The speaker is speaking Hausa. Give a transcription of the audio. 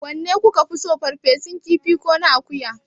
Wanne ki ka fi so, ferfesun kifi ko na akuya?